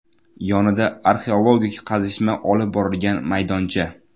Yonida arxeologik qazishma olib borilgan maydoncha.